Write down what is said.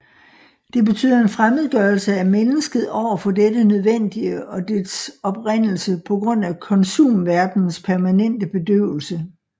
Det betyder en fremmedgørelse af mennesket over for dette nødvendige og dets oprindelse på ģrund af komsumverdenens permanente bedøvelse